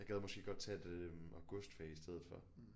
Jeg gad måske godt tage et øh augustfag i stedet for